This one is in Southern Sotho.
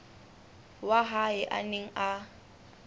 wa hae a neng a